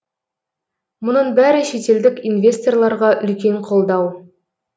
мұның бәрі шетелдік инвесторларға үлкен қолдау